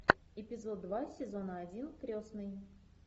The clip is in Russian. эпизод два сезона один крестный